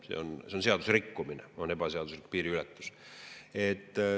See on seaduserikkumine, ebaseaduslik piiriületus.